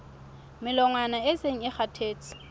melongwana e seng e kgathetse